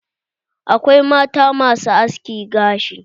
Akwai mata masu haski gashi.